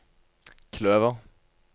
kløver